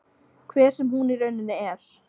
Hver sem hún í rauninni er.